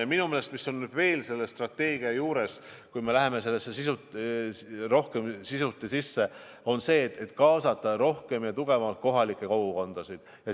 Ja minu meelest, mis on veel selle strateegia juures oluline, kui me läheme selle sisusse rohkem sisse: tuleb kaasata rohkem ja tugevamalt kohalike kogukondasid.